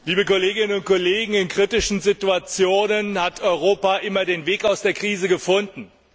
Herr Präsident, liebe Kolleginnen und Kollegen! In kritischen Situationen hat Europa immer den Weg aus der Krise gefunden.